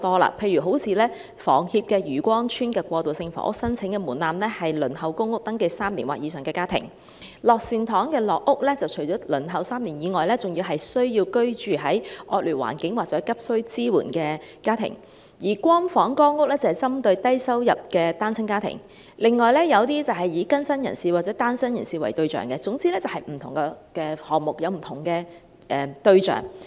例如香港房屋協會在漁光村的過渡性房屋的申請門檻，是已登記輪候公屋3年或以上的家庭；九龍樂善堂的樂善堂社會房屋計劃，除了是輪候3年之外，還需要是居住在惡劣環境或急需支援的家庭；"光房"、"光屋"是針對低收入單親家庭；以及有一些是以更新人士或單身人士為對象，總之便是不同項目有不同對象。